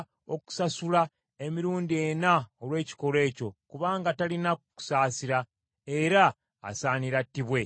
okusasula emirundi ena olw’ekikolwa ekyo, kubanga talina kusaasira, era asaanira attibwe.”